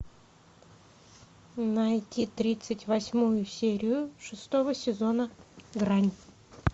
найди тридцать восьмую серию шестого сезона грань